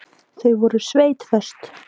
Þau voru sveitföst.